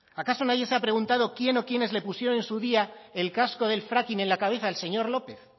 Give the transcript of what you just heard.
acaso nadie se ha preguntado quién o quiénes le pusieron en su día el casco del fracking en la cabeza al señor lópez